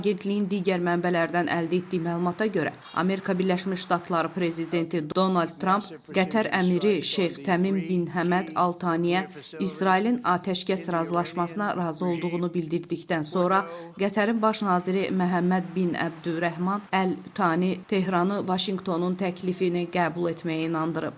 Agentliyin digər mənbələrdən əldə etdiyi məlumata görə, Amerika Birləşmiş Ştatları prezidenti Donald Trump Qətər əmiri Şeyx Təmim bin Həməd Al Saniyə İsrailin atəşkəs razılaşmasına razı olduğunu bildirdikdən sonra, Qətərin baş naziri Məhəmməd bin Əbdürrəhman Al Sani Tehranı Vaşinqtonun təklifini qəbul etməyə inandırıb.